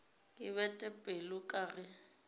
ke bete pelo ka ge